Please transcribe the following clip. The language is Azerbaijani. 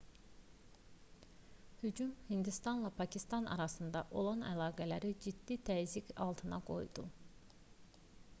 hücum hindistanla pakistan arasında olan əlaqələri ciddi təzyiq altında qoydu